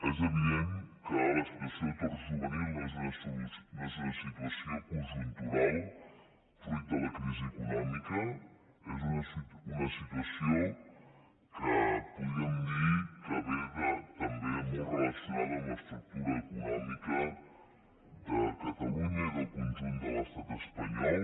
és evident que la situació d’atur juvenil no és situació conjuntural fruit de la crisi econòmica és una situació que podríem dir que ve també molt relacionada amb l’estructura econòmica de catalunya i del conjunt de l’estat espanyol